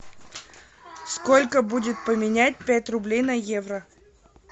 сколько будет поменять пять рублей на евро